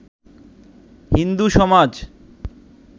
হিন্দু সমাজ